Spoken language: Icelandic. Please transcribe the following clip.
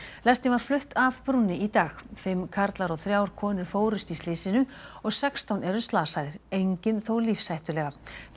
lestin var flutt af brúnni í dag fimm karlar og þrjár konur fórust í slysinu og sextán eru slasaðir enginn þó lífshættulega